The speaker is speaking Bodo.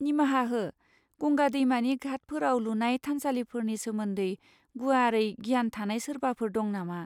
निमाहा हो, गंगा दैमानि घाटफोराव लुनाय थानसालिफोरनि सोमोन्दै गुवारै गियान थानाय सोरबाफोर दं नामा?